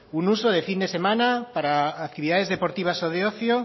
un uso de fin de semana para actividades deportivas o de ocio